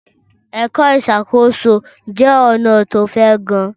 Ẹ̀kọ́ ìṣàkóso jẹ́ ọ̀nà tó fẹ̀ gan-an.